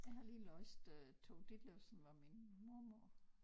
Jeg har lige læst øh Tove Ditlevsen Var Min Mormor